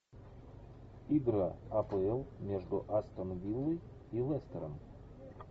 игра апл между астон виллой и лестером